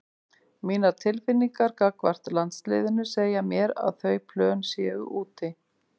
Mínar tilfinningar gagnvart landsliðinu segja mér að þau plön séu úti.